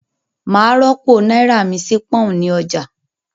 Màá rọ́pò náírà mi sí pọ́n-ọ̀n ní ọjà